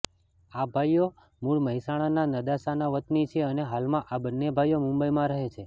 આ ભાઈઓ મૂળ મહેસાણાના નદાસાના વતની છે અને હાલમાં આ બંને ભાઈઓ મુંબઈમાં રહે છે